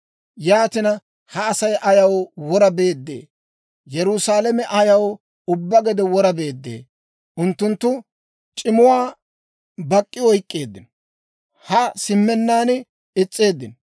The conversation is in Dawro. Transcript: Yaatina, ha Asay ayaw wora beeddee? Yerusaalame ayaw ubbaa gede wora beeddee? Unttunttu c'imuwaa bak'k'i oyk'k'eeddino; haa simmennaan is's'eeddino.